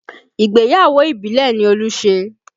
Ìgbéyàwó ìbílẹ̀ ni Olú ṣe